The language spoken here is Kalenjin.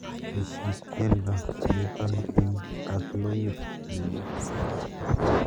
Teshi tyendo nitoni eng katlokit nenyun